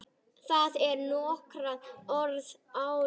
Það er orðið nokkuð áliðið.